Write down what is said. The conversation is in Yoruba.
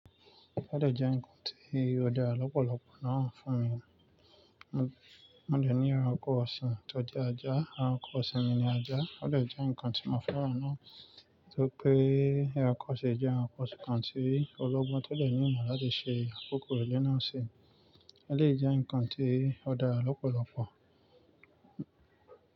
Ó dè jẹ́ ǹnkan tí ó dá lọ́pọ̀lọpọ̀ náà fún mi. Mo dè ní ẹranko ọ̀sìn tó jẹ́ ajá, ẹranko ọ̀sìn mi ni ajá ó dè jẹ́ ǹnkan tí mo fẹ́ràn náà. Nítorí pé ẹranko ṣe jẹ́ ẹranko kan tí ológbon to de ní ìmọ̀ láti ṣe àkókò ilé náà ṣe, eleyii jẹ́ ǹnkan tí ó dára lọ́pọ̀lọpọ̀.